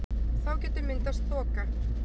Þá getur myndast þoka.